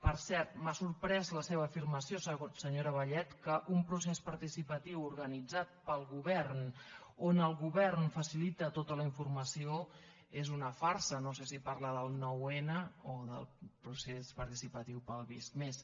per cert m’ha sorprès la seva afirmació senyora vallet que un procés participatiu organitzat pel govern on el govern facilita tota la informació és una farsa no sé si parla del noun o del procés participatiu per al visc+